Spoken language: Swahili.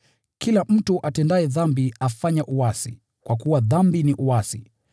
Kila mtu atendaye dhambi afanya uasi, kwa kuwa dhambi ni uasi.